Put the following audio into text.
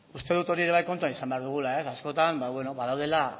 uste dut hori ere bai kontutan izan behar dugula ez askotan ba beno badaudela